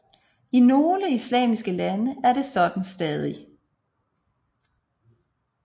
I nogle islamiske lande er det stadig sådan